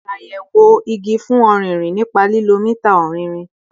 Ṣayẹwo igi fun ọririn nipa lilo mita ọrinrin